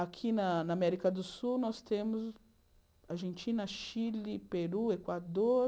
Aqui na na América do Sul, nós temos Argentina, Chile, Peru, Equador...